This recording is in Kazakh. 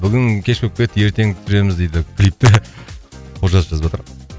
бүгін кеш болып кетті ертең түсіреміз дейді клипті олжас жазып жатыр